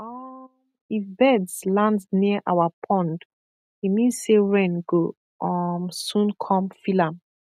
um if birds land near our pond e mean say rain go um soon come fill am